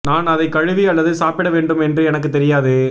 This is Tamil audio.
நான் அதை கழுவி அல்லது சாப்பிட வேண்டும் என்று எனக்கு தெரியாது